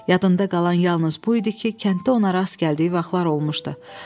Yadında qalan yalnız bu idi ki, kənddə ona rast gəldiyi vaxtlar olmuşdu.